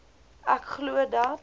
ek glo dat